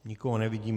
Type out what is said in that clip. Nikoho nevidím.